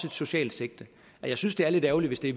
et socialt sigte og jeg synes det er lidt ærgerligt hvis det